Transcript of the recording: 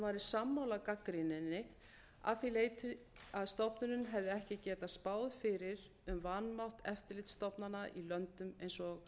væri sammála gagnrýninni að því leyti að stofnunin hefði ekki getað spáð fyrir um vanmátt eftirlitsstofnana í löndum eins og